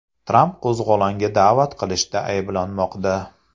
Tramp qo‘zg‘olonga da’vat qilishda ayblanmoqda.